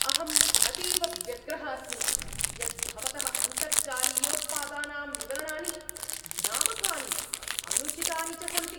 अहम् अतीव व्यग्रः अस्मि यत् भवतः अन्तर्जालीयोत्पादानां विवरणानि भ्रामकानि, अनुचितानि च सन्ति।